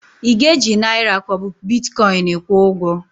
Ị ga-eji naịra ka ọ bụ Bitkọin kwụọ ụgwọ?